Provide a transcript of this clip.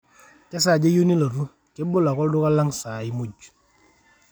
kesaaja iyieu nilotu, kebolo ake olduka lang saai muuj